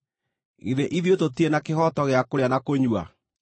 Githĩ ithuĩ tũtirĩ na kĩhooto gĩa kũrĩa na kũnyua?